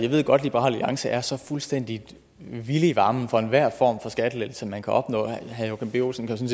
jeg ved godt at liberal alliance er så fuldstændig vilde i varmen for enhver form for skattelettelse man kan opnå herre joachim b olsen kan